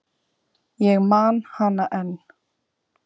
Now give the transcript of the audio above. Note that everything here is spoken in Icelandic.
Ég man hana enn.